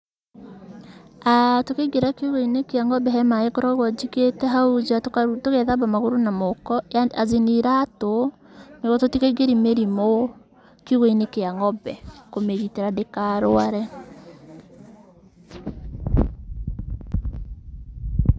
Tũkĩingira kiugũ-inĩ kĩa ng'ombe he maaĩ ngoragwo njigĩte hau nja tũgethaba magũrũ na moko azin iratũ nĩguo tũtikaigĩrie mĩrimũ kiugũ-inĩ kĩa ng'ombe kũmĩgitĩra ndĩkarũare.